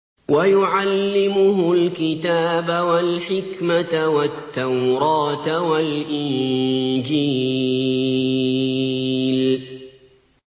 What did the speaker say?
وَيُعَلِّمُهُ الْكِتَابَ وَالْحِكْمَةَ وَالتَّوْرَاةَ وَالْإِنجِيلَ